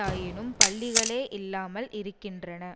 ஆயினும் பள்ளிகளே இல்லாமல் இருக்கின்றன